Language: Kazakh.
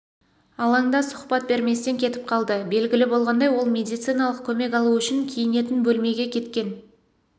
алаңда сұхбат берместен кетіп қалды белгілі болғандай ол медициналық көмек алу үшін киінетін бөлмеге кеткен